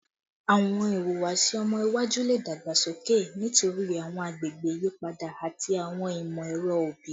Awọn ihuwasi ọmọ iwaju le dagbasoke nitori awọn agbegbe iyipada ati awọn imọ-ẹrọ obi